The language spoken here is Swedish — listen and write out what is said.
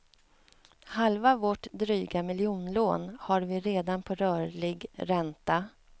Halva vårt dryga miljonlån har vi redan på rörlig ränta.